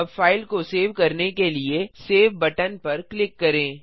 अब फाइल को सेव करने के लिए सेव बटन पर क्लिक करें